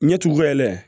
Ɲɛtuguba